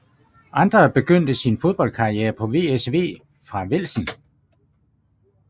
André begyndte sin fodboldkarriere på VSV fra Velsen